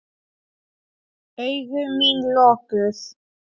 Augu mín lokuð.